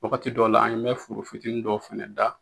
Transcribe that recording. Wagati dɔ la an bɛ foro fitini dɔ fɛnɛ da